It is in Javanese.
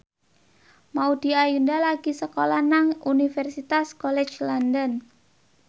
Maudy Ayunda lagi sekolah nang Universitas College London